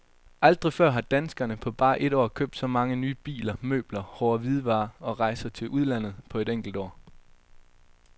Aldrig før har danskerne på bare et år købt så mange nye biler, møbler, hårde hvidevarer og rejser til udlandet på et enkelt år.